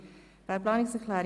GPK [Siegenthaler, Thun])